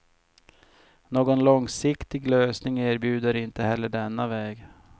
Någon långsiktig lösning erbjuder inte heller denna väg.